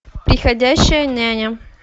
приходящая няня